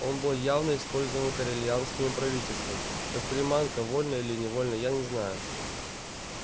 он был явно использован корелианским правительством как приманка вольно или невольно я не знаю